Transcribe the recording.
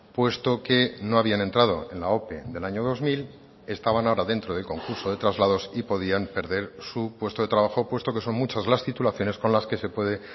puesto que no habían entrado en la ope del año dos mil estaban ahora dentro del concurso de traslados y podían perder su puesto de trabajo puesto que son muchas las titulaciones con las que se puede